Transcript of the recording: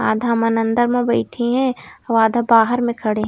आधा मन अंदर म बईठे हे आऊ आधा बाहर म खड़े हे।